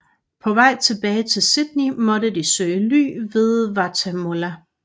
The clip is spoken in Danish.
På vej tilbage til Sydney måtte de søge ly ved Wattamolla